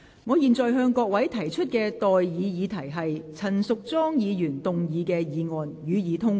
我現在向各位提出的待議議題是：陳淑莊議員動議的議案，予以通過。